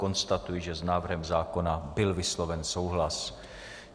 Konstatuji, že s návrhem zákona byl vysloven souhlas.